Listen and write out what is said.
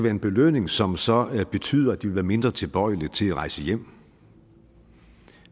en belønning som så betyder at de vil være mindre tilbøjelige til at rejse hjem